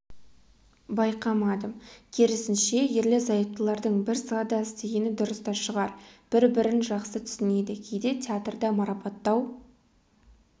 байқамадым керісінше ерлі-зайыптылардың бір салада істегені дұрыс та шығар бір-бірін жақсы түсінеді кейде театрда марапаттау